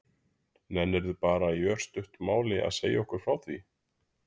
Nennirðu bara í örstuttu máli að segja okkur frá því?